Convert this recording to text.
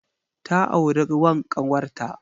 Ta auri wan ƙawarta.